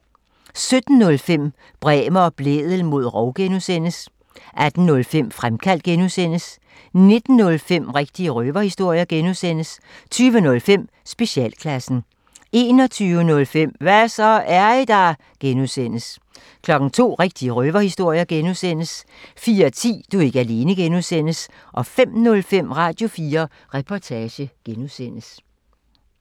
17:05: Bremer og Blædel mod rov (G) 18:05: Fremkaldt (G) 19:05: Rigtige røverhistorier (G) 20:05: Specialklassen 21:05: Hva' så, er I der? (G) 02:00: Rigtige røverhistorier (G) 04:10: Du er ikke alene (G) 05:05: Radio4 Reportage (G)